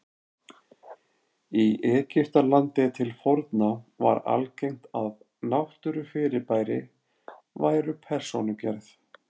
Í Egyptalandi til forna var algengt að náttúrufyrirbæri væru persónugerð.